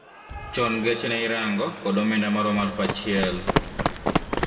Chon geche te ne irango kod omenda maromo alufu achiel